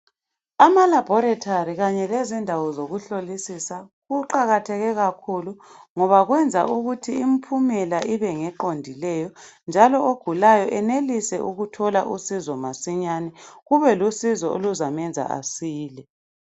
Amalabhorethari kanye lezindawo zokuhlolisisa kuqakatheke kakhulu ngoba kwenza ukuthi impumela ibe ngeqondileyo njalo ogulayo enelise ukuthola usizo masinyane, kube lusizo oluzamenza asile.